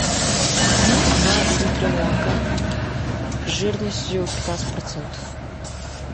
купи два литра молока жирностью пятнадцать процентов